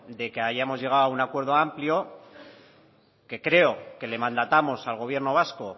de que hayamos llegado a un acuerdo amplio que creo que le mandatamos al gobierno vasco